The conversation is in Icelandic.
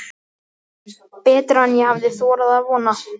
Betra en ég hafði þorað að vona